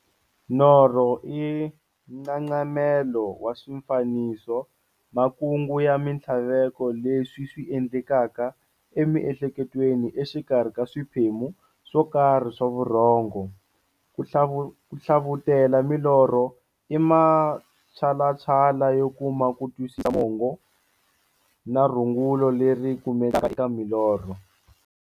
Norho i nxaxamelo wa swifaniso, makungu na minthlaveko leswi ti endlekelaka emiehleketweni exikarhi ka swiphemu swokarhi swa vurhongo. Ku hlavutela milorho i matshalatshala yo kuma kutwisisa mongo na rungula leri kumekaka eka milorho.